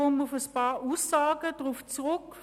Ich komme auf einige Aussagen zurück.